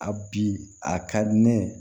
A bi a ka di ne ye